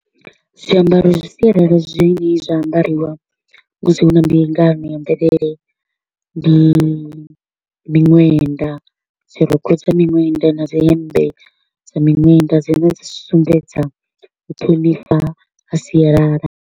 Zwiambaro zwa sialala zwine zwa ambariwa musi hu na mbingano ya mvelele, ndi miṅwenda, dzirokho dza miṅwenda na dzi hemmbe dza miṅwenda, dzine dzi sumbedza u ṱhonifha ha sialala.